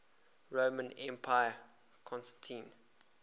roman emperor constantine